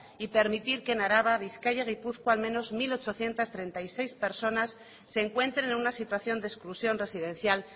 y permitir que en araba bizkaia y gipuzkoa al menos mil ochocientos treinta y seis personas se encuentren en una situación de exclusión residencial